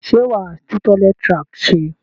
Sé wàá tun toilet rack se?